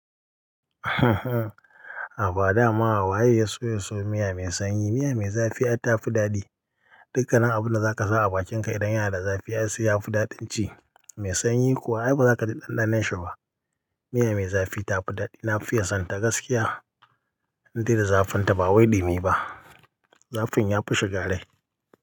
Haba dama waye ya so ya siyo miya mai sanyi. Miya mai zafi ai ta fi daɗi. Dukkanin abunda zaka sa a bakinka idan yana da zafi ai sai yafi daɗin ci. Mai sanyi kuwa ai bazaka ji ɗanɗanon shi ba. Miya mai zafi ta fi daɗi. Na fiye son ta gaskiya. Indai da zafin ta ba wai ɗi mi ba. Zafin ya fi shiga rai.